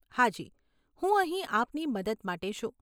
હાજી, હું અહીં આપની મદદ માટે છું.